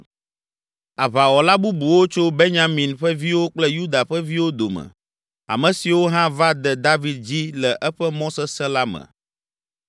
Aʋawɔla bubuwo tso Benyamin ƒe viwo kple Yuda ƒe viwo dome ame siwo hã va de David dzi le eƒe mɔ sesẽ la me.